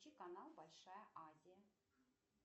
включи канал большая азия